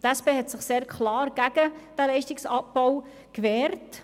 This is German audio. Die SP hat sich sehr klar gegen diesen Leistungsabbau gewehrt.